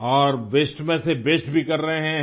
और वास्ते में से बेस्ट भी कर रहें हैं